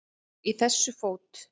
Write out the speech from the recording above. Í þessu fót